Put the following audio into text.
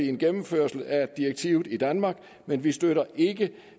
en gennemførelse af direktivet i danmark men vi støtter ikke